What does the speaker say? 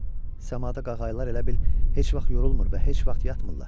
Səmada qağayılar elə bil heç vaxt yorulmur və heç vaxt yatmırlar.